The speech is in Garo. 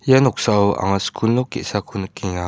ia noksao anga skul nok ge·sako nikenga.